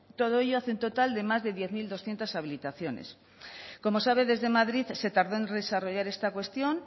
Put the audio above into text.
todo ello hace un total de más de diez mil doscientos habilitaciones como sabe desde madrid se tardó en desarrollar esta cuestión